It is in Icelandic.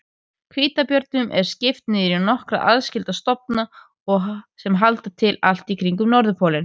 Hvítabjörnum er skipt niður í nokkra aðskilda stofna sem halda til allt í kringum norðurpólinn.